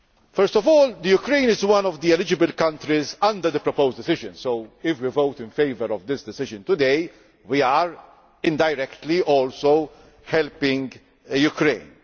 First of all, Ukraine is one of the eligible countries under the proposed decision, so if we vote in favour of this decision today, we are indirectly also helping Ukraine.